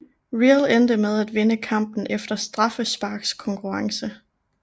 Real endte med at vinde kampen efter straffesparkskonkurrence